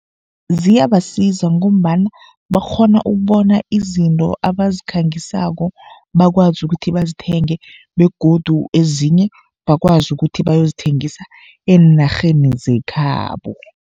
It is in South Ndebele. Ziyabasiza ngombana bakghona ukubona izinto abazikhangisako, bakwazi ukuthi bazithenge begodu ezinye bakwazi ukuthi bayozithengisa eenarheni zekhabo.